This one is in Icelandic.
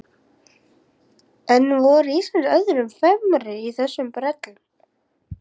En voru Íslendingar öðrum fremri í þessum brellum?